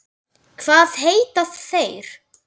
Hvað heita þeir?